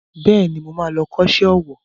Bẹ́ẹ̀ni, mo ma lọ kọ́ṣẹ́ owó